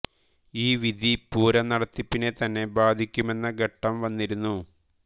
ഈ വിധി പൂരം നടത്തിപ്പിനെ തന്നെ ബാധിക്കുമെന്ന ഘട്ടം വന്നിരുന്നു